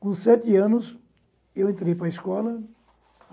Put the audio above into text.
Com sete anos, eu entrei para a escola.